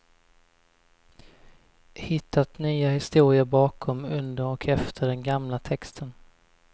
Hittat nya historier bakom, under och efter den gamla texten.